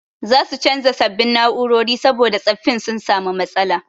Za su canza sabbin na'urori saboda tsaffin sun samu matsala.